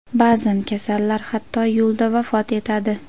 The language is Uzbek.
Ba’zan kasallar hatto yo‘lda vafot etadi.